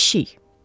Pişik.